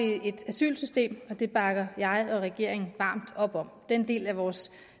et asylsystem og det bakker jeg og regeringen varmt op om den del af vores